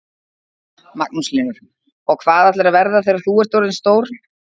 Magnús Hlynur: Og hvað ætlarðu að verða þegar þú ert orðin stór?